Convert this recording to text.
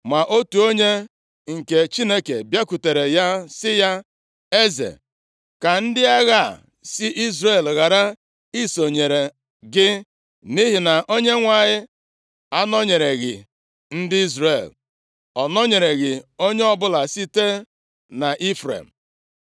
Ma otu onye nke Chineke bịakwutere ya, sị ya; “Eze, ka ndị agha a si Izrel ghara isonyere gị, nʼihi na Onyenwe anyị anọnyereghị ndị Izrel, ọ nọnyereghị onye ọbụla sitere nʼIfrem.